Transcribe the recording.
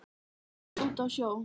langt úti á sjó.